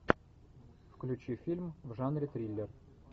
включи фильм в жанре триллер